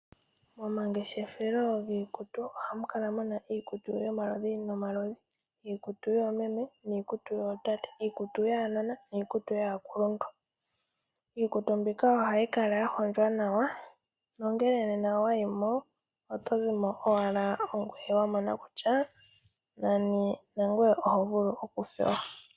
Momangeshefelo giikutu ohamu kala muna iikutu yomaludhi nomaludhi, iikutu yoomeme niikutu yootate, iikutu yaanona niikutu yaakuluntu. Iikutu mbika ohayi kala ya hondjwa nawa nongele nena owa yi mo, oto zimo owala wa mona kutya nani nangoye oho vulu okufewa.